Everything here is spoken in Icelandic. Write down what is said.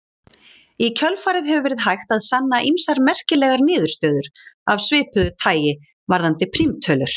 Í kjölfarið hefur verið hægt að sanna ýmsar merkilegar niðurstöður af svipuðu tagi varðandi prímtölur.